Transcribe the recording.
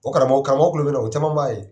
O karamɔgɔw karamɔgɔ kulo bɛ na, o caman b'a ye